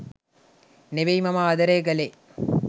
නෙවෙයි මම ආදරය කළේ.